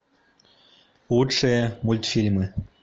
лучшие мультфильмы